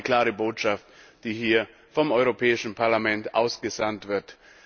Und das ist auch eine klare Botschaft, die hier vom Europäischen Parlament ausgesandt wird.